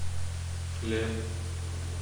хлеб